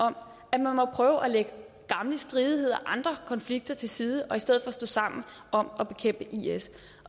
om at prøve at lægge gamle stridigheder og andre konflikter til side og i stedet stå sammen om at bekæmpe is